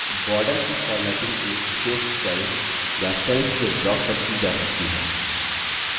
borders की formatting एक विशेष cell या cells के block पर की जा सकती है